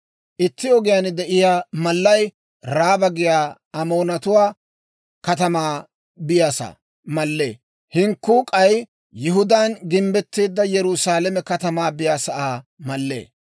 Itti ogiyaan de'iyaa mallay Raaba giyaa Amoonatuwaa katamaa biyaasaa mallee; hinkkuu k'ay Yihudaan gimbbetteedda Yerusaalame katamaa biyaasaa mallee.